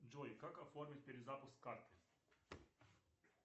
джой как оформить перезапуск карты